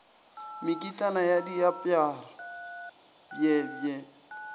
mekitlana ya diaparo bj bj